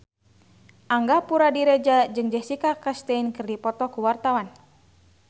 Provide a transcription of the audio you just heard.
Angga Puradiredja jeung Jessica Chastain keur dipoto ku wartawan